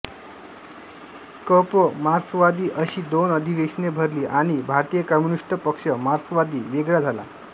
क प मार्क्सवादी अशी दोन अधिवेशने भरली आणि भारतीय कम्युनिस्ट पक्ष मार्क्सवादी वेगळा झाला